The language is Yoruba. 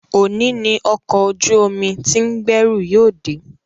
Òní ni ọkọ̀ ojú omi tí ń gbẹ́rù yóò dé